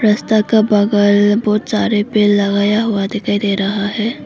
रस्ता का बगल बहुत सारे पेड़ लगाया हुआ दिखाई दे रहा है।